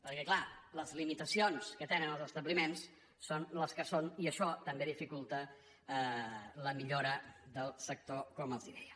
perquè clar les limitacions que tenen els establiments són les que són i això també dificulta la millora del sector com els deia